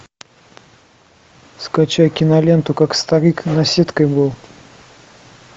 скачай киноленту как старик наседкой был